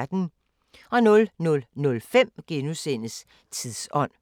00:05: Tidsånd *